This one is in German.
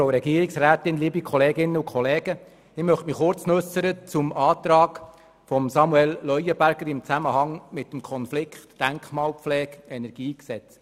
Ich möchte mich noch kurz zum Antrag von Samuel Leuenberger äussern, der im Zusammenhang mit dem Konflikt zwischen Denkmalpflege und KEnG steht.